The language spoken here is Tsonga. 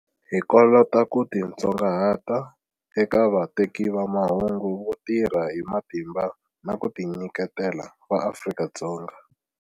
Hi kolota ku titsongahata eka vateki va mahungu vo tirha hi matimba na ku ti nyiketela va Afrika-Dzonga.